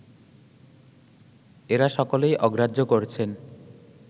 এঁরা সকলেই অগ্রাহ্য করছেন